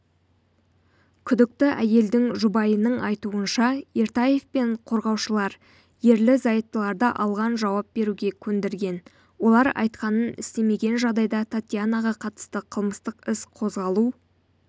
күдікті әйелдің жұбайының айтуынша ертаев пен қорғаушылар ерлі-зайыптыларды жалған жауап беруге көндірген олар айтқанын істемеген жағдайда татьянаға қатысты қылмыстық іс қозғалу